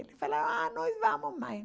Ele falou, ah, nós vamos, mãe.